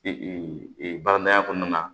baradamadenyaya kɔnɔna na